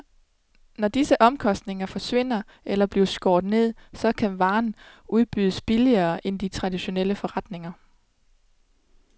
Når disse omkostninger forsvinder eller bliver skåret ned, så kan varerne udbydes billigere end i de traditionelle forretninger.